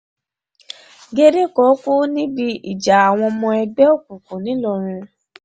gédé kan kú níbi ìjà àwọn ọmọ ẹgbẹ́ òkùnkùn ńìlọrin